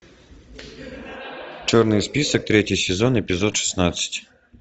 черный список третий сезон эпизод шестнадцать